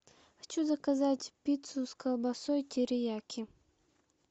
хочу заказать пиццу с колбасой терияки